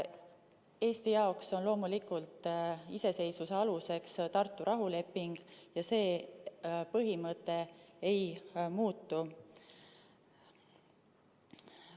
Eesti jaoks on loomulikult iseseisvuse aluseks Tartu rahuleping ja see põhimõte ei muutu.